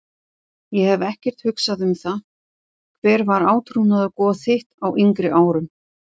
Ég hef ekkert hugsað um það Hver var átrúnaðargoð þitt á yngri árum?